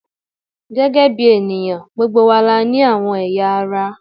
Gẹ́gẹ́ bí ènìyàn, gbogbo wa la ní àwọn ẹ̀yà ara